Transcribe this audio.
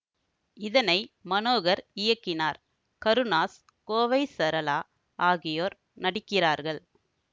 இதனை மனோகர் இயக்கினார் கருணாஸ் கோவை சரளா ஆகியோர் நடிக்கிறார்கள்